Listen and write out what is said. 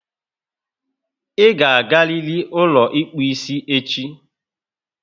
I ga agariri ụlọ ịkpụ isi echi!